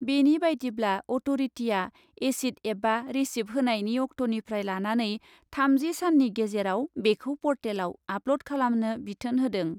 बेनि बायदिब्ला, अट'रिटिआ एसिद एबा रिसिफ होनायनि अक्ट'निफ्राय लानानै थामजि साननि गेजेराव बेखौ पर्टेलआव आपल'ड खालामनो बिथोन होदों ।